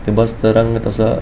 ते बसचा रंग तसा --